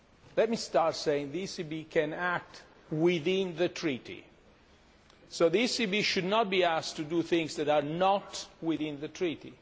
Let me start by saying the ECB can act within the Treaty so the ECB should not be asked to do things that are not within the Treaty.